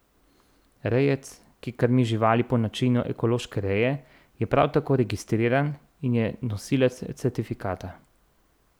Rejec, ki krmi živali po načinu ekološke reje, je prav tako registriran in je nosilec certifikata.